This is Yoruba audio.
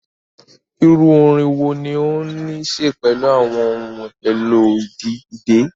Iru orin wo ni o ni ṣe pelu awọn ohun-elo idẹ?